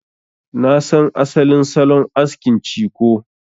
Na san asalin salon askin ciko.